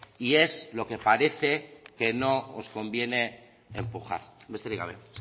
y es lo que parece que no os conviene empujar besterik gabe